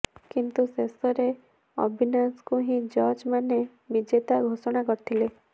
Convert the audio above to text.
କିନ୍ତୁ ଶେଷରେ ଅବିନାଶଙ୍କୁ ହିଁ ଜଜ୍ ମାନେ ବିଜେତା ଘୋଷଣା କରିଥିଲେ